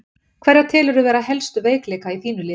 Hverja telurðu vera helstu veikleika í þínu liði?